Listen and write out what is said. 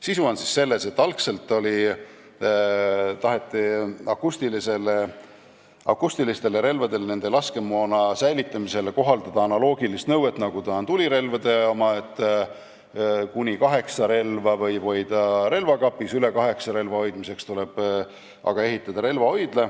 Sisu on selles, et algselt taheti akustilistele relvadele ja nende laskemoona säilitamisele kohaldada analoogilist nõuet, nagu on tulirelvade puhul, et kuni kaheksa relva võib hoida relvakapis, üle kaheksa relva hoidmiseks tuleb aga ehitada relvahoidla.